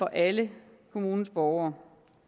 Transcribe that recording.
alle kommunens borgere